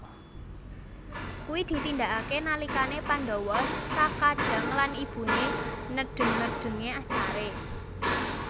Kuwi ditindakake nalikane Pandhawa sakadang lan Ibune nedheng nedhenge sare